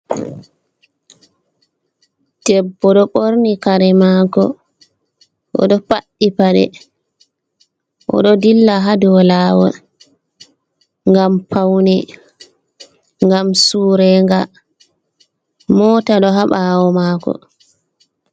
Debbo ɗo ɓorni kare maako, o ɗo faɗɗi paɗe, o ɗo dilla haa dow laawol, ngam pawne, ngam suurega, moota ɗo haa ɓaawo maako.